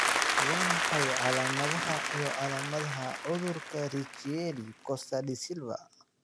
Waa maxay calaamadaha iyo calaamadaha cudurka Richieri Costa Da Silva?